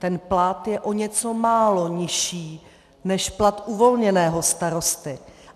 Ten plat je o něco málo nižší než plat uvolněného starosty.